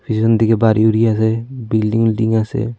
পিসন থেকে বাড়ি উড়ি আছে বিল্ডিং ইল্ডিং আছে।